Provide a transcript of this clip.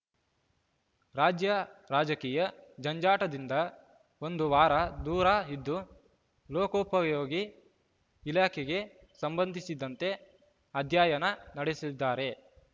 ರಾಜ್ಯ ರಾಜಕೀಯ ಜಂಜಾಟದಿಂದ ಒಂದು ವಾರ ದೂರ ಇದ್ದು ಲೋಕೋಪಯೋಗಿ ಇಲಾಖೆಗೆ ಸಂಬಂಧಿಸಿದಂತೆ ಅಧ್ಯಯನ ನಡೆಸಲಿದ್ದಾರೆ